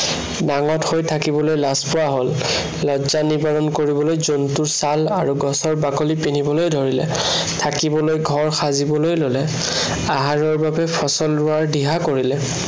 নাঙঠ হৈ থাকিবলৈ লাজ পোৱা হল। লজ্জা নিবাৰণ কৰিবলৈ জন্তুৰ ছাল আৰু গছৰ বাকলি পিন্ধিবলৈ ধৰিলে। থাকিবলৈ ঘৰ সাজিবলৈ ললে। আহাৰৰ বাবে ফচল ৰোৱাৰ দিহা কৰিলে।